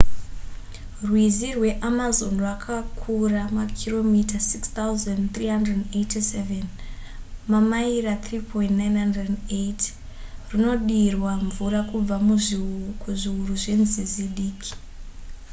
rwizi rweamazon rwakakura makiromita 6 387 mamaira 3,980. runodirwa mvura kubva kuzviuru zvenzizi diki